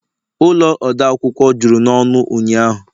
ụlọ odeakwụkwọ juru n'ọnụ ụnyahụ